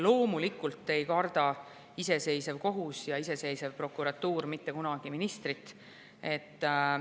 Loomulikult ei karda iseseisev kohus ja iseseisev prokuratuur mitte kunagi ministrit.